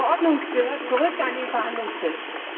Die Verordnung gehört zurück auf den Verhandlungstisch!